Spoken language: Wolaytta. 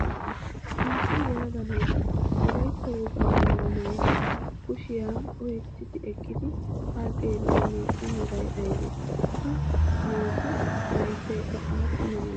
naa"u yelaga naati wolayitta wogaa mayyuwa maayidi kushiya oyiketti eqqidi haa xeelliyaa naatu meray ayibee? ha naatu layittayikka aappuna malatii?